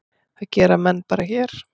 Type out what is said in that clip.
Það gera menn bara hér.